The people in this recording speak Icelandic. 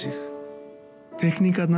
teikningarnar